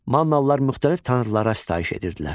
Mannalılar müxtəlif tanrılara sitayiş edirdilər.